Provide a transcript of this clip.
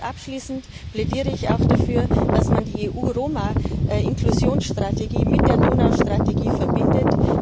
Abschließend plädiere ich auch dafür, dass man die EU Roma Inklusionsstrategie mit der Donaustrategie verbindet.